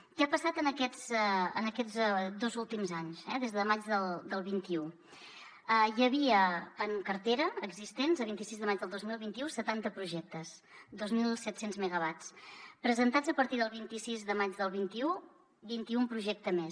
què ha passat en aquests dos últims anys des de maig del vint un hi havia en cartera existents a vint sis de maig del dos mil vint u setanta projectes dos mil set cents megawatts presentats a partir del vint sis de maig del vint un vint i un projectes més